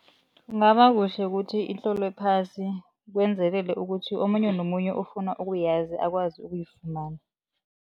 Kungaba kuhle kuthi itlolwe phasi kwenzelele ukuthi omunye nomunye ofuna ukuyazi akwazi ukuyifumana.